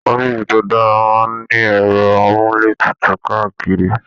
Ọ̀fiísí tó dára máa n ní ẹrọ amuletutu káàkiri.